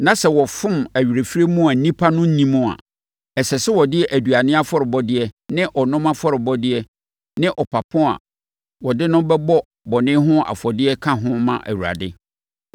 na sɛ wɔfom awerɛfirie mu a nnipa no nnim a, ɛsɛ sɛ wɔde aduane afɔrebɔdeɛ ne ɔnom afɔrebɔdeɛ ne ɔpapo a wɔde no bɛbɔ bɔne ho afɔdeɛ ka ho ma Awurade.